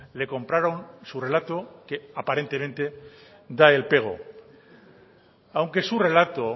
le compraron su relato que aparentemente da el pego aunque su relato